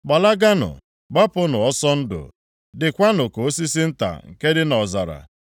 Gbalaganụ! Gbapụnụ ọsọ ndụ! Dịkwanụ ka osisi nta nke dị nʼọzara.